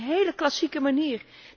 Maar dat is een hele klassieke manier.